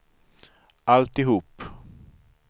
alltihop